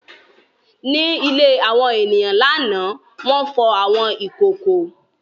Ní ilé àwọn ènìyàn lánàá, wọ́n fọ àwọn ìkòkò.